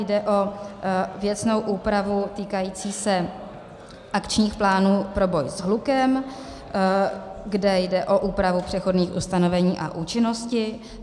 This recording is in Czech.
Jde o věcnou úpravu týkajících se akčních plánů pro boj s hlukem, kde jde o úpravu přechodných ustanovení a účinnosti.